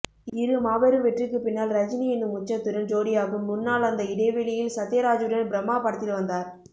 இரு மாபெரும் வெற்றிக்கு பின்னால் ரஜினி எனும் உச்சத்துடன் ஜோடியாகும் முன்னால் அந்த இடைவெளியில் சத்யராஜுடன் பிரம்மா படத்தில் வந்தார்